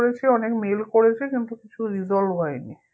করেছি অনেক mail করেছি কিন্তু কিছু resolve হয়নি